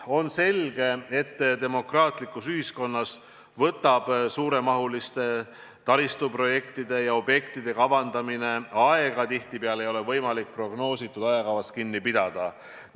On selge, et demokraatlikus ühiskonnas võtab suuremahuliste taristuprojektide ja -objektide kavandamine aega, tihtipeale ei ole võimalik prognoositud ajakavast kinni pidada.